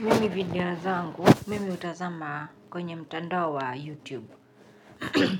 Mimi video zangu, mimi hutazama kwenye mtandao wa YouTube.